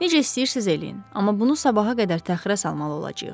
Necə istəyirsiz eləyin, amma bunu sabaha qədər təxirə salmalı olacağıq.